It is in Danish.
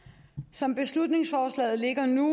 som beslutningsforslaget ligger nu